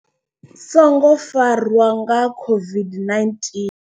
Songo farwa COVID-19.